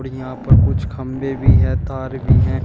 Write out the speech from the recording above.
यहां पर कुछ खंभे भी है तार भी है।